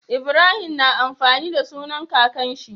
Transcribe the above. Ibrahim na amfani da sunan kakan shi